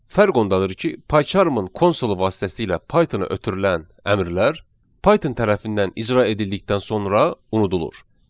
Fərq ondadır ki, PyCharm-ın konsolu vasitəsilə Pythona ötürülən əmrlər Python tərəfindən icra edildikdən sonra unudulur.